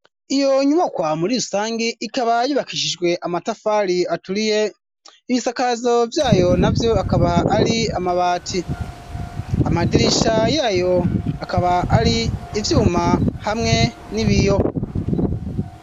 Iyo nyubakwa muri rusangi ikaba yubakishijwe amatafari aturiye ibisakazo vyayo navyo akaba ari amabati amadirisha yayo akaba ari ivyuma hamwe n'ibiyo.